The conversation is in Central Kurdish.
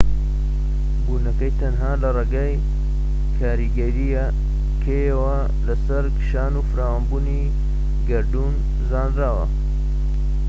بوونەکەی تەنها لە ڕێگەی کاریگەریەکەیەوە لەسەر کشان و فراوانبوونی گەردوون زانراوە